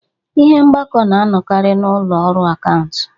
Ihe mgbako na-anọkarị n'ụlọ ọrụ akaụntụ